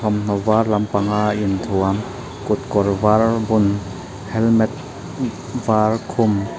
a vâr lampanga inthuam kutkawr vâr bun helmet vâr khum.